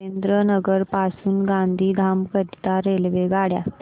सुरेंद्रनगर पासून गांधीधाम करीता रेल्वेगाड्या